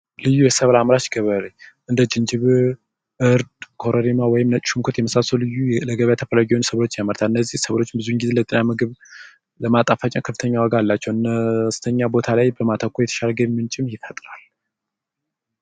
ልዩ የሰብል አምራች ገበሬዎች እንደ ጅንጅብል እርድ ኮረሪማ ወይም ነጭ ሽንኩርት የመሳሰሉ ልዩ የገበያ ሰብሎችን ያመርታል እነዚህ ሰብሎች ለጤና ከፍተኛ ዋጋ አላቸው በነዚህ ቦታዎች ላይ በማተኮር ከፍተኛ ገቢ ይፈጥራል።